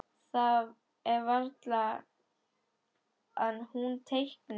Það er varla að hún teikni.